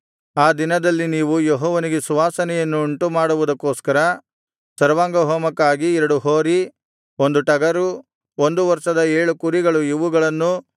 ಆ ದಿನದಲ್ಲಿ ನೀವು ಯೆಹೋವನಿಗೆ ಸುವಾಸನೆಯನ್ನು ಉಂಟುಮಾಡುವುದಕ್ಕೋಸ್ಕರ ಸರ್ವಾಂಗಹೋಮಕ್ಕಾಗಿ ಎರಡು ಹೋರಿ ಒಂದು ಟಗರು ಒಂದು ವರ್ಷದ ಏಳು ಕುರಿಗಳು ಇವುಗಳನ್ನೂ